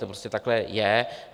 To prostě takhle je.